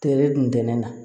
Tere dun na